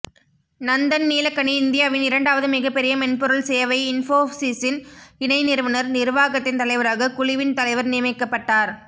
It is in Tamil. நந்தன் நீலக்கனி இந்தியாவின் இரண்டாவது மிகப்பெரிய மென்பொருள் சேவை இன்ஃபோசிஸ்ன் இணை நிறுவனர் நிர்வாகத்தின் தலைவராக குழுவின் தலைவர் நியமிக்கப்பட்டார்